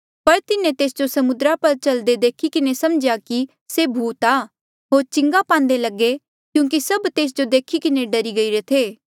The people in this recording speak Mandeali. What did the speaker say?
पर तिन्हें तेस जो समुद्रा पर चल्दे देखी किन्हें समझ्या कि से भूत आ होर चिंगा पान्दे लगे क्यूंकि सभ तेस जो देखी किन्हें डरी गईरे थे